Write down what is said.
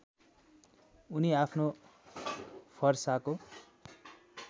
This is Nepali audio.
उनी आफ्नो फरसाको